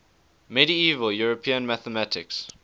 medieval european mathematics